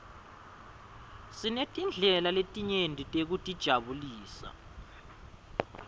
sinetindlela letinyeti tekutijabulisa